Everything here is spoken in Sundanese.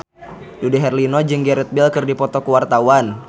Dude Herlino jeung Gareth Bale keur dipoto ku wartawan